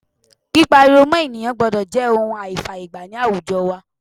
Pípá ariwo mọ́ ènìyàn gbọ́dọ̀ jẹ́ ohun àìfàyè gbà ní àwùjo wa